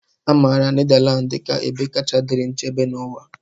A maara Nedalands dị ka ebe kacha dịrị nchebe n'ụwa.